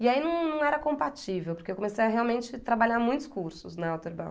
E aí não não era compatível, porque eu comecei a realmente trabalhar muitos cursos na